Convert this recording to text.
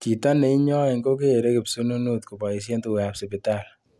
Chito neinyoin kokere kipsununut koboisie tugukab sipitali